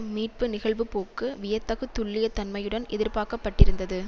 மீட்பு நிகழ்வுப்போக்கு வியத்தகு துல்லிய தன்மையுடன் எதிர்பாக்கப்பட்டிருந்தது